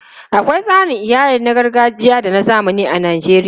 Akwai tsarin iyali na gargajiya da na zamani a Najeriya.